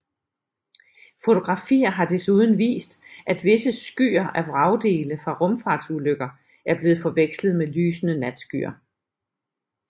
Fotografier har desuden vist at visse skyer af vragdele fra rumfartsulykker er blevet forvekslet med lysende natskyer